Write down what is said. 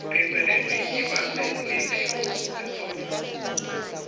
pheceleti ibase iliphimbo lendvodza